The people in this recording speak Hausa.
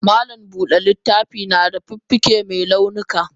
Malam Buda littafi nada fuffuke me launuka.